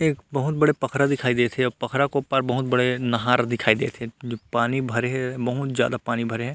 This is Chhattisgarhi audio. एक बहुत बड़ा पखरा दिखाई देत हे अऊ पखरा के ओ पार बहुत बड़े नहर दिखाई देत हे जो पानी भरे हे बहुत ज्यादा पानी भरे हे।